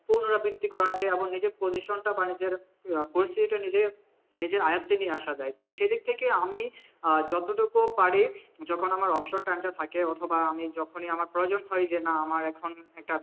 পুনরাবৃত্তি করা যায় এবং নিজের position টা আহ পরিস্থিতিটা নিজে নিজের আয়ত্বে নিয়ে আসা যায় তো সেইদিক থেকে আমি আহ যতটুকু পার যখন আমার অবসর time টা থাকে অথবা আমি যখনই আমার প্রয়োজন হয় যে না আমার এখন একটা